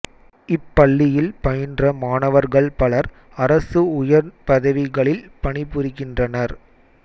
இப்பள்ளியில் பயின்ற மாணவர்கள் பலர் அரசு உயர்ப் பதவிகளில் பணி புரிகின்றனர்